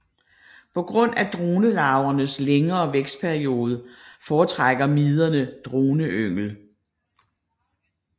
På grund af dronelarvernes længere vækstperiode foretrækker miderne droneyngel